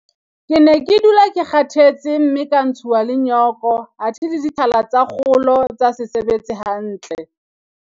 Ke ne ke dula ke kgathetse mme ka ntshuwa le nyoko athe le ditlhala tsa kgolo tsa se sebetse hantle.